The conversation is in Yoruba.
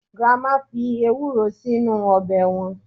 grandma fi ewuro sinu obe wan